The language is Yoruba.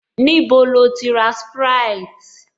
Níbo lo ti ra sprite?